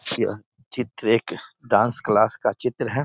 यह चित्र एक डांस क्लास का चित्र है|